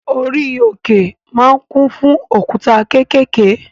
Orí òkè ma ń kún fún òkúta kékèké